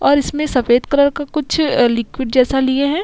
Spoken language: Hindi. और इसमें सफ़ेद कलर का कुछ लिक्विड जैसा लिए है |